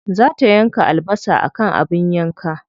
Za ta yanka albasa akan abin yanka.